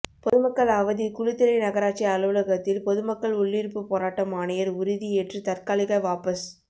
பொதுமக்கள் அவதி குளித்தலை நகராட்சி அலுவலகத்தில் பொதுமக்கள் உள்ளிருப்பு போராட்டம் ஆணையர் உறுதி ஏற்று தற்காலிக வாபஸ்